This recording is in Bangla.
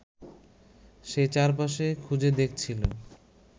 সে চারপাশে খুঁজে দেখছিল